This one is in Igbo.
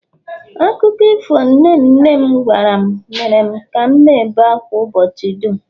akụkọ ifo nke nne nne m gwara m mere ka m na-ebe ákwá ụbọchị dum